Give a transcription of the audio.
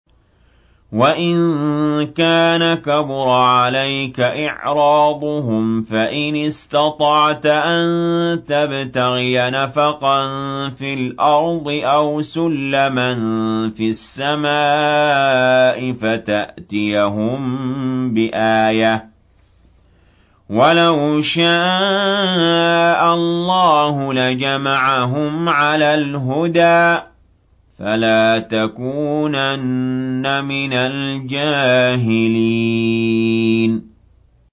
وَإِن كَانَ كَبُرَ عَلَيْكَ إِعْرَاضُهُمْ فَإِنِ اسْتَطَعْتَ أَن تَبْتَغِيَ نَفَقًا فِي الْأَرْضِ أَوْ سُلَّمًا فِي السَّمَاءِ فَتَأْتِيَهُم بِآيَةٍ ۚ وَلَوْ شَاءَ اللَّهُ لَجَمَعَهُمْ عَلَى الْهُدَىٰ ۚ فَلَا تَكُونَنَّ مِنَ الْجَاهِلِينَ